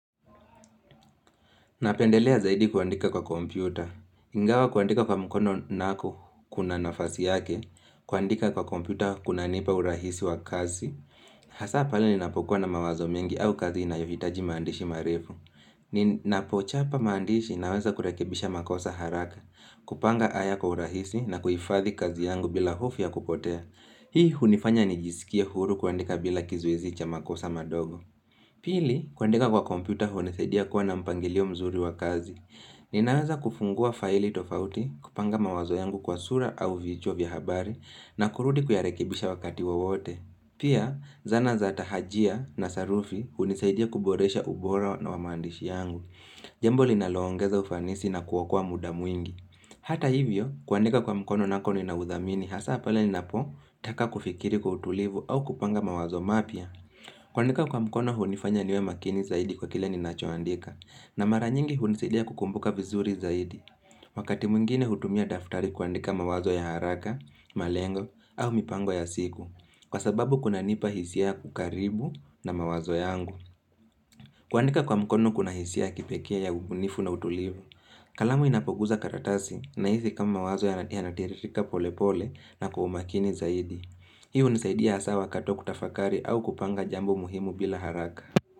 Napendelea zaidi kuandika kwa kompyuta. Ingawa kuandika kwa mkono nako kuna nafasi yake, kuandika kwa kompyuta kunanipa urahisi wa kazi. Hasa pale ninapokuwa na mawazo mengi au kazi inayohitaji maandishi marefu. Ninapochapa maandishi naweza kurekebisha makosa haraka, kupanga aya kwa urahisi na kuifadhi kazi yangu bila hofu ya kupotea. Hii hunifanya nijisikie huru kuandika bila kizuizi cha makosa madogo. Pili, kuandika kwa kompyuta hunisaidia kuwa na mpangilio mzuri wa kazi. Ninaweza kufungua faili tofauti, kupanga mawazo yangu kwa sura au vichwa vya habari, na kurudi kuyarekebisha wakati wowote. Pia, zana za tahajia na sarufi hunisaidia kuboresha ubora na wa maandishi yangu. Jambo linaloongeza ufanisi na kuokoa muda mwingi. Hata hivyo, kuandika kwa mkono nako ninauthamini, hasa pale ninapotaka kufikiri kwa utulivu au kupanga mawazo mapya. Kuandika kwa mkono hunifanya niwe makini zaidi kwa kile ninachoandika, na mara nyingi hunisaidia kukumbuka vizuri zaidi. Wakati mwengine hutumia daftari kuandika mawazo ya haraka, malengo, au mipango ya siku, kwa sababu kunanipa hisia kukaribu na mawazo yangu. Kuandika kwa mkono kuna hisia ya kipekee ya ubunifu na utulivu. Kalamu inapoguza karatasi, nahizi kama mawazo yanatiririka polepole na kwa umakini zaidi. Hii hunisaidia hasa wakati wa kutafakari au kupanga jambo muhimu bila haraka.